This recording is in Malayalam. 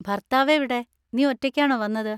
ഭർത്താവ് എവിടെ? നീ ഒറ്റയ്ക്കാണോ വന്നത്?